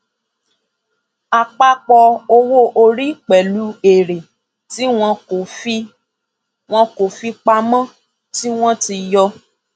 àpapọ owó orí pẹlú èrè tí wọn kò fi wọn kò fi pamọ tí wọn ti yọ